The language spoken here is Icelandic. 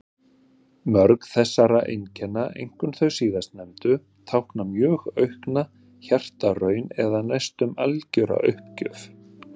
Mörg þessara einkenna, einkum þau síðastnefndu, tákna mjög aukna hjartaraun eða næstum algjöra uppgjöf.